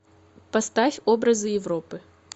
поставь образы европы